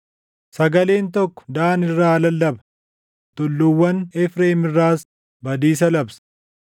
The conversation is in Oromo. Sagaleen tokko Daan irraa lallaba; tulluuwwan Efreem irraas badiisa labsa.